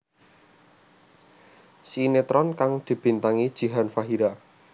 Sinetron kang dibintangi Jihan Fahira